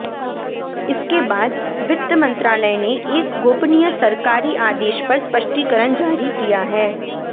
इसके बाद वित्त मंत्रालय ने एक गोपनीय सरकारी आदेश पर स्पष्टीकरण जारी किया है